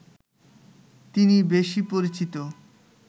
তিনি বেশি পরিচিত